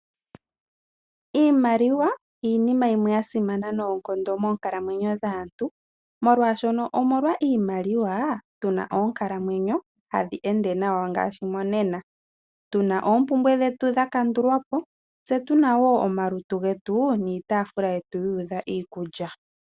Iimaliwa iinima yimwe ya simana nayi noonkondo moonkalamwenyo dhaantu. Molwaashono omolwa iimaliwa tuna onkalamwenyo tadhi ende nawa monena. Tuna oompumbwe dhetu dha kandulwapo . Tse tuna woo omalutu getu niitaafula yetu yuudha iikulya.